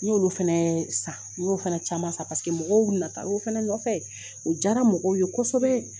N y'olu fana san n y'o fana caman mɔgɔw natar'o fana nɔfɛ o diyara mɔgɔw ye kosɛbɛ